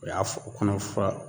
O y'a o kɔnɔ fura